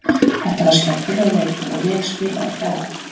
Þetta var skemmtilegur leikur og vel spilaður hjá okkur.